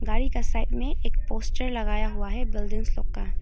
गाड़ी का साइड में एक पोस्टर लगाया हुआ है बिल्डिंग लोग का--